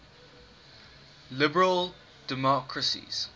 liberal democracies